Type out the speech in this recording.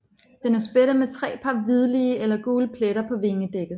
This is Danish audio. Den er spættet med tre par hvidlige eller gule pletter på vingedækket